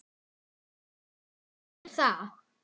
En hvað þýðir það?